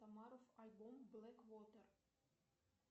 самаров альбом блэк вотэр